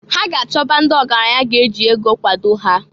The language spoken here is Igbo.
Ha ga -achọba ndị ọgaranya ga-eji ego kwado ha.